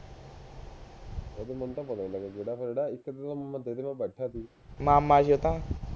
ਮਾਮਾ ਛੋਟਾ